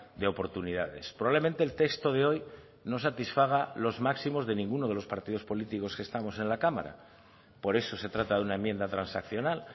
de oportunidades probablemente el texto de hoy no satisfaga los máximos de ninguno de los partidos políticos que estamos en la cámara por eso se trata de una enmienda transaccional